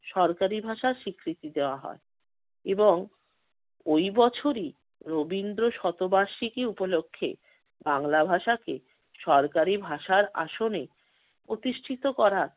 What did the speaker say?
সরকারি ভাষার স্বীকৃতি দেওয়া হয় এবং ওই বছরই রবীন্দ্র শত বার্ষিকী উপলক্ষ্যে বাংলা ভাষাকে সরকারি ভাষার আসনে প্রতিষ্ঠিত করার